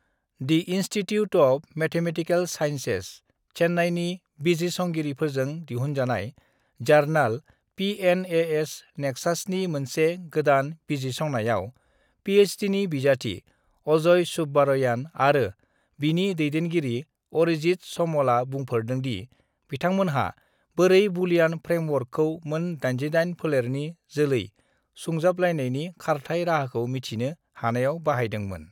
"D institute of mathematical sciences, चेन्नाइनि बिजिरसंगिरिफोरजों दिहुनजानाय जार्नाल पिएनएएस नेक्सासनि मोनसे गोदान बिजिरसंनायाव पिएइचडिनि बिजाथि अजय सुब्बारयान आरो बिनि दैदेनगिरि आरिजित समलआ बुंफोरदोंदि बिथांमोनहा बोरै बुलियान फ्रेमवर्कखौ मोन 88 फोलेरनि जोलै सुंजाबलायनायनि खारथाय राहाखौ मिथिनो हानायाव बाहायदोंमोन।"